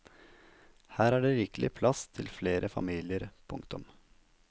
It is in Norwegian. Her er det rikelig med plass til flere familier. punktum